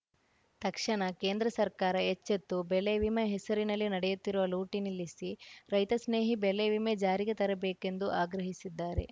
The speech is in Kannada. ತಕ್ಷಣ ಕೇಂದ್ರ ಸರ್ಕಾರ ಎಚ್ಚೆತ್ತು ಬೆಳೆವಿಮೆ ಹೆಸರಿನಲ್ಲಿ ನಡೆಯುತ್ತಿರುವ ಲೂಟಿ ನಿಲ್ಲಿಸಿ ರೈತಸ್ನೇಹಿ ಬೆಳೆವಿಮೆ ಜಾರಿಗೆ ತರಬೇಕೆಂದು ಆಗ್ರಹಿಸಿದ್ದಾರೆ